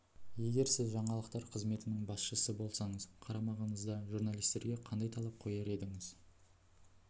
егер сіз жаңалықтар қызметінің басшысы болсаңыз қарамағыңыздағы журналистерге қандай талап қояр едіңіз